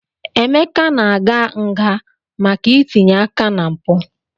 Emeka na-aga nga maka itinye aka na mpụ.